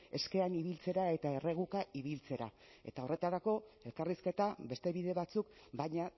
eskean ibiltzera eta erreguka ibiltzera eta horretarako elkarrizketa beste bide batzuk baina